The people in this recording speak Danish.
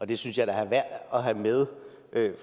det synes jeg da er værd at have med